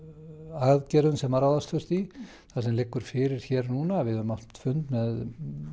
aðgerðum sem ráðast þurfti í það sem liggur fyrir núna við höfum átt fund með